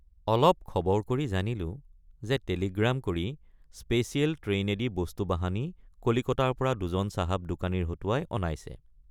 অলপ খবৰ কৰি জানিলোঁ যে টেলিগ্ৰাম কৰি স্পেচিয়েল ট্ৰেইনেদি বস্তুবাহানি কলিকতাৰপৰা দুজন চাহাব দোকানীৰ হতুৱাই অনাইছে।